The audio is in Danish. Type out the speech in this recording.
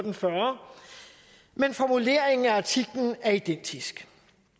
og fyrre men formuleringen af artiklen er identisk